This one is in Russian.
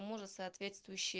у мужа соответствующие